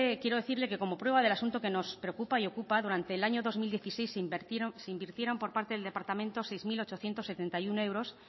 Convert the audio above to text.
quiero decirle que como prueba del asunto que nos preocupa y ocupa durante el año dos mil dieciséis se invirtieron por parte del departamento seis mil ochocientos setenta y uno euros